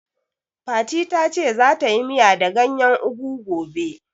Fati ta ce za ta yi miya da gayen ugu gobe